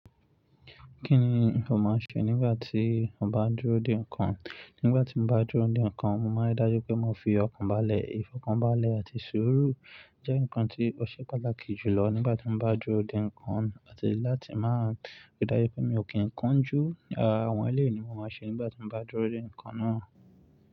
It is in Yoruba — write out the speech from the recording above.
Kí ni mo máa ṣe nígbà tí mo bá dúró dè nǹkan? Nígbà tí mo bá dúró dè nǹkan, mo máa dájú pé mo fi ọkàn bá lẹ̀. Ìfọkànbalẹ̀ àti sùúrù jẹ́ nǹkan tí ó ṣe pàtàkì jùlọ nígbà tí mo bá dúró dè nǹkan. Àti láti máa ríi dájú pé mi ò kí nǹkan jù, àwọn eléyí ni mo máa ṣe nígbà tí mo bá dúró dè nǹkan náa.